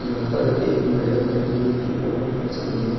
यहाँ पर एक मैंडम है जो इनकी फोटो खैंच रही है।